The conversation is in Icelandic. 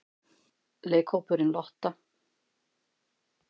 Leikhópurinn Lotta?